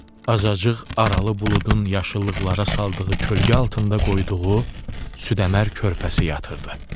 Azacıq aralı buludun yaşıllıqlara saldığı kölgə altında qoyduğu südəmər körpəsi yatırdı.